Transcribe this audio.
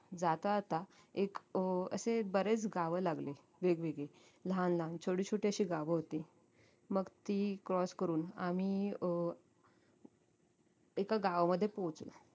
जाता जाता एक अं एक बरेच गाव लागली वेगवेगळी लहान लहान छोटी छोटी अशी गावं होती मग ती cross करून आम्ही अं एका गावामध्ये पोहचलो